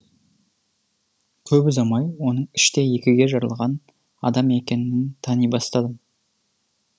көп ұзамай оның іштей екіге жарылған адам екенін тани бастадым